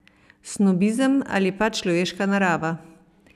Snobizem ali pač človeška narava?